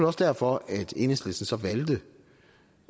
også derfor at enhedslisten så valgte